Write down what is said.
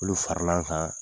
Olu faral'an kan.